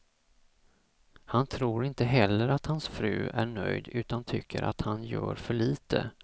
Han tror inte heller att hans fru är nöjd utan tycker att han gör för lite.